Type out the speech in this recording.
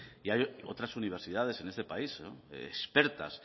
y hay otras universidades en este país expertas